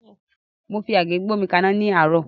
Mo fi àgé gbómi kaná ní àárọ́.